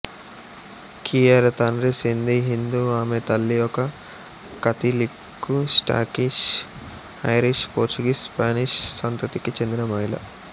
కియారా తండ్రి సింధీ హిందూ ఆమె తల్లి ఒక Catholic Scottish Irish Portuguese Spanish సంతతికి చెందిన మహిళ